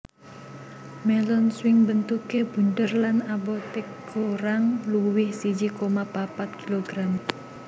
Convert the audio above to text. Melon swing bentuke bunder lan abote kurang luwih siji koma papat kg